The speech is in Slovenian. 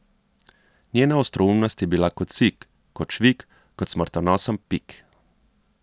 Njena ostroumnost je bila kot sik, kot švig, kot smrtonosen pik.